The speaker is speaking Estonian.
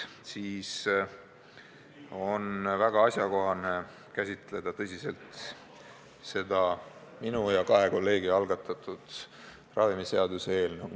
Nii on väga asjakohane käsitleda tõsiselt minu ja kahe kolleegi algatatud ravimiseaduse muutmise seaduse eelnõu.